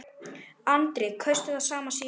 Andri: Kaustu það sama síðast?